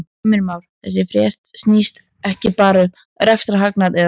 Heimir Már: Þessi frétt snýst ekki bara um rekstrarhagnað eða hvað?